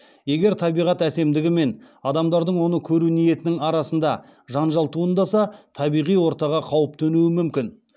егер табиғат әсемдігі мен адамдардың оны көру ниетінің арасында жанжал туындаса табиғи ортаға қауіп төнуі мүмкін